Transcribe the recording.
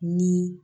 Ni